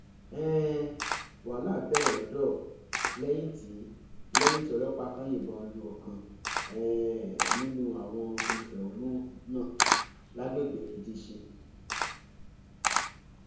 um wàhálà bẹrẹ lọdọ lẹyìn tí lẹyìn tí ọlọpàá kan yìnbọn lu ọkan um nínú àwọn olùfẹhónú náà lágbègbè ìdísìn